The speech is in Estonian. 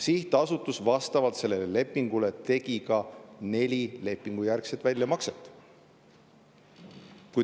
Sihtasutus tegi vastavalt sellele lepingule neli lepingujärgset väljamakset.